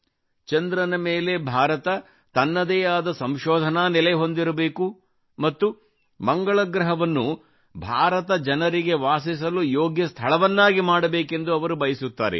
ಚಂದ್ರನ ಮೇಲೆ ಭಾರತ ತನ್ನದೇ ಆದ ಸಂಶೋಧನಾ ನೆಲೆ ಹೊಂದಿರಬೇಕು ಮತ್ತು ಮಂಗಳ ಗ್ರಹವನ್ನು ಭಾರತ ಜನರಿಗೆ ವಾಸಿಸಲು ಯೋಗ್ಯ ಸ್ಥಳವನ್ನಾಗಿ ಮಾಡಬೇಕೆಂದು ಅವರು ಬಯಸುತ್ತಾರೆ